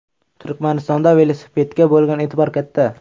Turkmanistonda velosipedga bo‘lgan e’tibor katta.